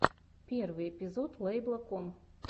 первый эпизод лэйбла ком